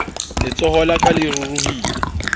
letsoho la ka le ruruhile